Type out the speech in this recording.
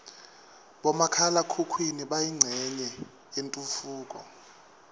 bomakhala khukhwini bayincenye yetentfutfuko